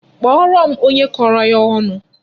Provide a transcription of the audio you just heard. Kpọọrọ m onye kọrọ ya ọnụ!